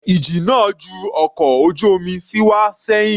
Ìjì náà ju ọkọ̀ ojú omi sí wá sẹ́hìn.